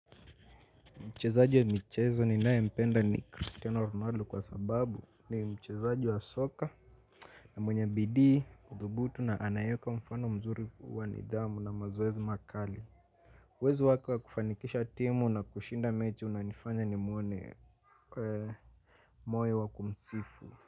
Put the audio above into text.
Mchezaji wa michezo ninae mpenda ni Cristiano Ronaldo kwa sababu ni mchezaji wa soka na mwenye bidii kuthubutu na anayeweka mfano mzuri wa nidhamu na mazoezi makali uwezo wake wa kufanikisha timu na kushinda mechi unanifanya ni muone kwe moyo wa kumsifu.